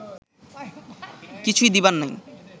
কিছুই দিবার নাই